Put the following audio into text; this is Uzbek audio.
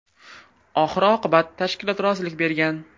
Oxir-oqibat tashkilot rozilik bergan.